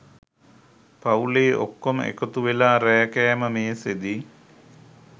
පවුලෙ ඔක්කොම එකතු වෙලා රෑ කෑම මේසෙදි